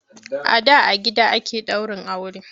A da a gida ake daurin aure.